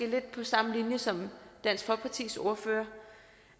lidt på samme linje som dansk folkepartis ordfører